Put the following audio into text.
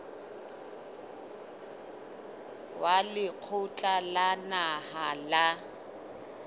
wa lekgotla la naha la